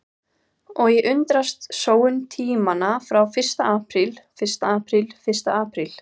Og ég undrast sóun tímanna frá því fyrsta apríl fyrsta apríl fyrsta apríl.